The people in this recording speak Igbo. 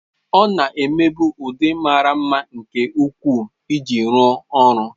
Ọ na-emebu ụdị mara mma nke ukwuu iji rụọ ọrụ.